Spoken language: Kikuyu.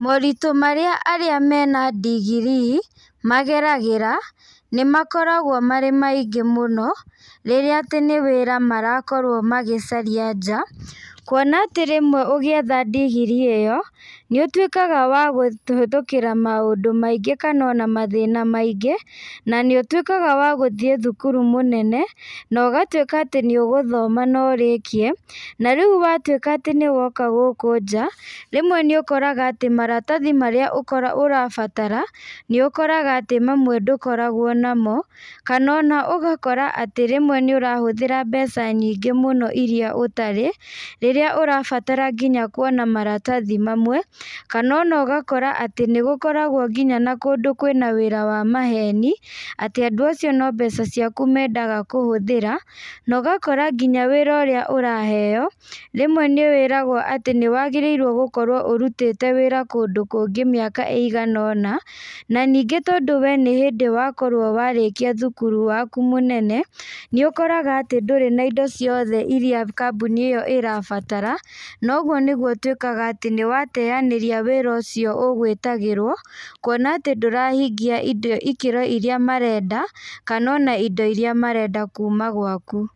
Moritũ marĩa arĩa mena ndigirii, mageragĩra, nĩmakoragwo marĩ maingĩ mũno, rĩrĩa atĩ nĩ wĩra marakorwo magĩcaria nja, kuona atĩ rĩmwe ũgĩetha ndigirii ĩyo, nĩũtuĩkaga wa kũhĩtũkĩra maũndũ maingĩ kana ona mathina maingĩ, na nĩũtuĩkaga wa gũthiĩ thukuru mũnene, na ũgatuĩka atĩ nĩũgũthoma na ũrĩkie, na riu watuĩka atĩ nĩwoka gũkũ nja, rĩmwe nĩũkoraga atĩ maratathi marĩa ũko ũrabatara, nĩũkoraga atĩ mamwe ndũkoragwo namo, kana ona ũgakora atĩ rĩmwe nĩũrahũthĩra mbeca nyingĩ mũno iria ũtarĩ, rĩrĩa ũrabatara nginya kuona maratathi mamwe, kana ona ũgakora atĩ nĩgũkoragwo nginya na kũndũ kwana wĩra wa maheni, atĩ andũ acio no mbeca ciaku mendaga kũhũthĩra, na ũgakora nginya wĩra ũrĩa ũraheo, rĩmwe nĩwĩragwo atĩ nĩwagĩrĩirwo gũkorwo urutĩte wĩra kũndũ kungĩ mĩaka ĩigana ũna, na ningĩ tondũ we nĩhĩndĩ wakorwo warĩkia thukuru waku mũnene, nĩũkoraga atĩ ndũrĩ na indo ciothe iria kambũni ĩyo ĩrabatara, na ũguo nĩguo ũtuĩkaga atĩ nĩwateanĩria wĩra ũcio ũgwwĩtagĩrwo, kuona atĩ ndurahingia indo ikĩro iria marenda, kana ona indo iria marenda kuma gwaku.